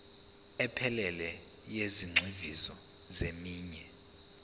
ephelele yezigxivizo zeminwe